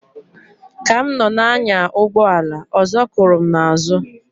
Ka m nọ na-anya ụgbọ ala ọzọ kụrụ m na azu.